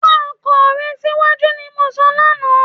Wá ọkọ rè síwájú ni mo sọ lánàá